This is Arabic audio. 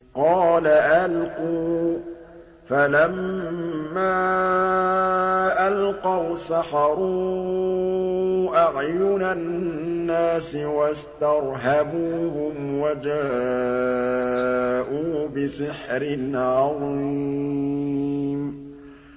قَالَ أَلْقُوا ۖ فَلَمَّا أَلْقَوْا سَحَرُوا أَعْيُنَ النَّاسِ وَاسْتَرْهَبُوهُمْ وَجَاءُوا بِسِحْرٍ عَظِيمٍ